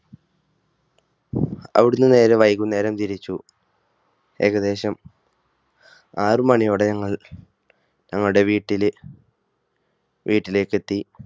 അവിടുന്ന് നേരെ വൈകുന്നേരം തിരിച്ചു. ഏകദേശം ആറുമണിയോടെ ഞങ്ങൾ ഞങ്ങളുടെ വീട്ടിലെ വീട്ടിലേക്ക് എത്തി.